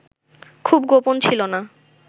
খুব গোপন ছিল না